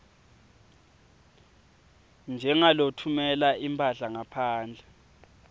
njengalotfumela imphahla ngaphandle